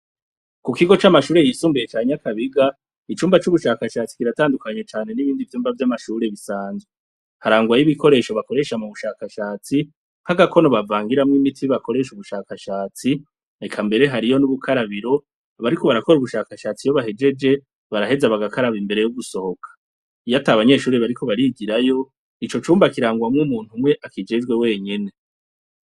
Ku kigo c'amashure yisumbuye ca Nyakabiga, icumba c'ubushakashatsi kiratandukanye cane n'ibindi vyumba vy'amashure bisanzwe. Harangwa yo ibikoresho bikoresha mu bushakashatsi, nk'agakono bavangiramwo imiti bakoresha ubushakashatsi, eka mbere hariyo n'ubukarabiro abariko barakora ubushakashatsi iyo bahejeje, baraheza bagakaraba imbere yo gusohoka. Iyo atabanyeshure bariko barigirayo, ico cumba kirangwamwo umuntu umwe akijejwe we nyene.